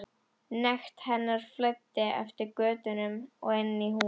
Nekt hennar flæddi eftir götunum og inn í húsin.